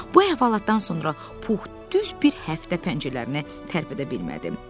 Bu əhvalatdan sonra Pux düz bir həftə pəncələrinə tərpədə bilmədi.